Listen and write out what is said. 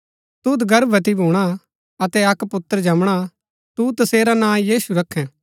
तुद गर्भवती भूणा अतै अक्क पुत्र जमणा तू तसेरा नां यीशु रखैं